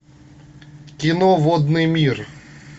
кино водный мир